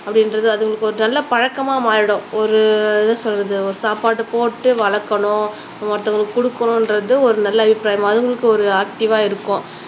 அப்படின்றது அதுங்களுக்கு ஒரு நல்ல பழக்கமா மாறிடும் ஒரு என்ன சொல்றது சாப்பாடு போட்டு வளக்கணும் ஒருத்தங்களுக்கு குடுக்கனும்ன்றது ஒரு நல்ல அபிப்ராயம் அதுகளுக்கும் ஒரு ஆக்டிவா இருக்கும்